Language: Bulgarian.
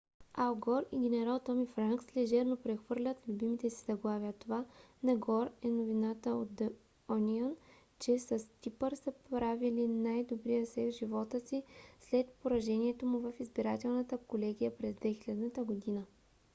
ал гор и генерал томи франкс лежерно прехвърлят любимите си заглавия това на гор е новината на the onion че с типър са правили най - добрия секс в живота си след поражението му в избирателната колегия през 2000 г.